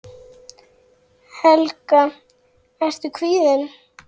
Helga: Ertu kvíðinn?